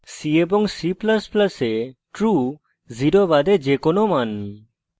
c এবং c ++ এ true 0 বাদে যে কোনো মান